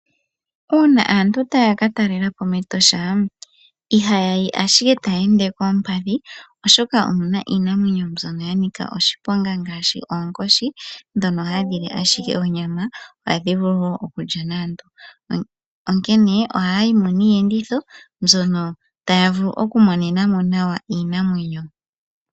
Una aantu taya ka talelepo mEtosha, ihayayi ashike taya ende koompadhi oshoka omuna iinamwenyo mbyono ya nika oshiponga ngashi oonkoshi, dhono hadhi li ashike onyama, adhi vulu wo okulya naantu, onkene ohaya yimo niiyenditho mbyono taya vulu oku monenamo nawa iinamwenyo.